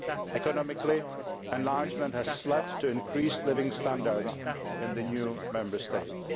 Economically, enlargement has led to increased living standards in the new Member States.